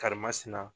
Karimasina